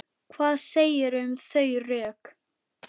Hvað segirðu um þau rök?